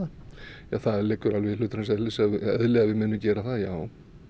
það liggur alveg í hlutarins eðli eðli að við munum gera það já